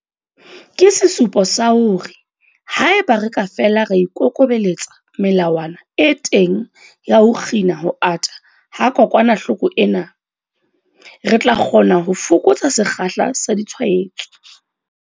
Ke sesupo sa hore haeba re ka fela ra ikokobeletsa melawana e teng ya ho kgina ho ata ha kokwanahloko ena, re tla kgona ho fokotsa sekgahla sa ditshwaetso.